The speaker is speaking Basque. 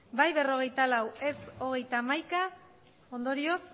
bai berrogeita lau ez hogeita hamaika ondorioz